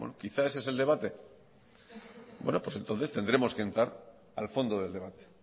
quizá ese es el debate bueno pues entonces tendremos que entrar al fondo del debate